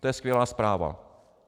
To je skvělá zpráva.